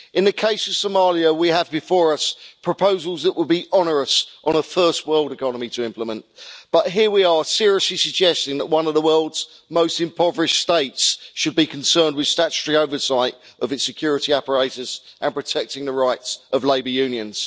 In the case of Somalia, we have before us proposals that would be onerous for a first world economy to implement, but here we are seriously suggesting that one of the world's most impoverished states should be concerned with statutory oversight of its security apparatus and protecting the rights of labour unions.